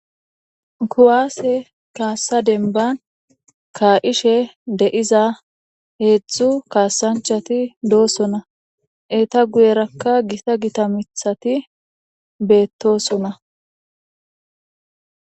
kuwaase kaassa denban ka'ishe de'iza heedzdzu kaasanchati doosona eeta guyerakka gita gita miththati beettosona.